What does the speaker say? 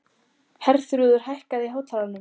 Herþrúður, hækkaðu í hátalaranum.